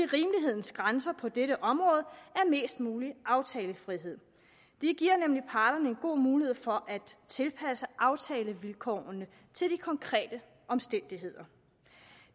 rimelighedens grænser på dette område er mest mulig aftalefrihed det giver nemlig parterne en god mulighed for at tilpasse aftalevilkårene til de konkrete omstændigheder